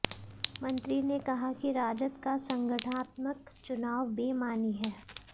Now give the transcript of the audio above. मंत्री ने कहा कि राजद का संगठनात्मक चुनाव बेमानी है